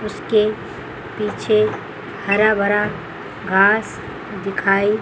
उसके पीछे हरा भरा घास दिखाई--